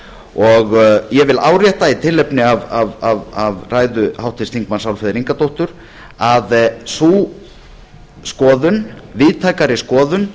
ég vil árétta í tilefni af ræðu háttvirts þingmanns álfheiðar ingadóttur að sú skoðun víðtækari skoðun